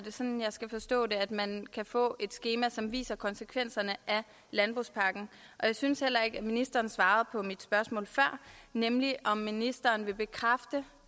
det sådan jeg skal forstå det at man kan få et skema som viser konsekvenserne af landbrugspakken jeg synes heller ikke at ministeren svarede på mit spørgsmål før nemlig om ministeren vil bekræfte